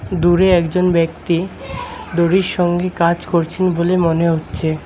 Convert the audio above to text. দূরে একজন ব্যক্তি দড়ির সঙ্গে কাজ করছেন বলে মনে হচ্ছে।